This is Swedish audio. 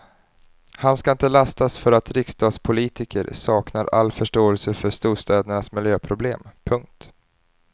Han ska inte lastas för att riksdagspolitiker saknar all förståelse för storstädernas miljöproblem. punkt